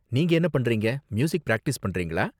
நீங்க என்ன பண்றீங்க? மியூசிக் பிராக்டிஸ் பண்றீங்களா?